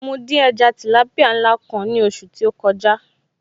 Mo dín ẹja tìlápìá ńlá kan ní ọ̀sẹ̀ tí ó kọjá